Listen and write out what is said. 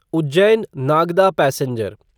Ujjain Nagda passenger